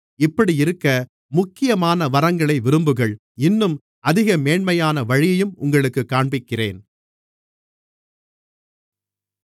இப்படியிருக்க முக்கியமான வரங்களை விரும்புங்கள் இன்னும் அதிக மேன்மையான வழியையும் உங்களுக்குக் காண்பிக்கிறேன்